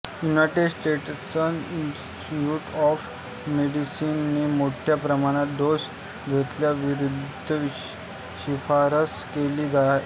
United States Institute of मेडिसिनने मोठ्या प्रमाणात डोस घेण्याविरुद्ध शिफारस केली आहे